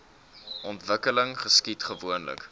ontwikkeling geskied gewoonlik